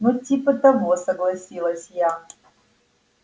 ну типа того согласилась я